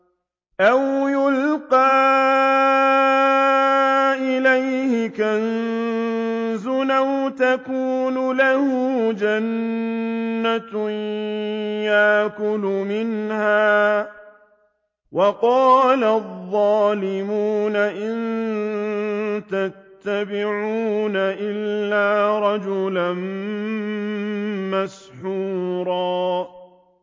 أَوْ يُلْقَىٰ إِلَيْهِ كَنزٌ أَوْ تَكُونُ لَهُ جَنَّةٌ يَأْكُلُ مِنْهَا ۚ وَقَالَ الظَّالِمُونَ إِن تَتَّبِعُونَ إِلَّا رَجُلًا مَّسْحُورًا